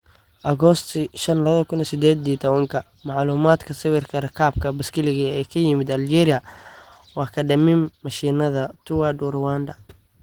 Agosti 5, 2018 Macluumaadka Sawirka, Rakaabka baaskiilka ee ka yimid Aljeeriya waa kaadhamin mashiinada Tour du Rwanda.